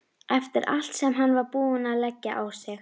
Eftir allt sem hann var búinn að leggja á sig!